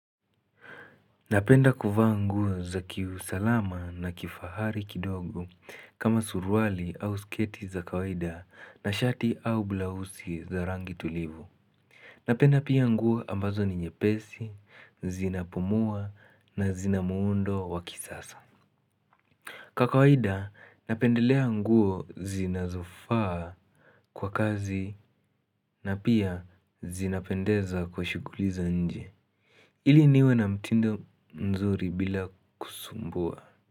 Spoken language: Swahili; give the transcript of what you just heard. Napenda kuvaa nguo za kiusalama na kifahari kidogo kama suruali au sketi za kawaida na shati au blausi za rangi tulivu Napenda pia nguo ambazo ni nyepesi, zinapumua na zinamuundo wakisasa Kwa kawaida napendelea nguo zinazofaa kwa kazi na pia zinapendeza kwa shughuli za nje ili niwe na mtindo mzuri bila kusumbua.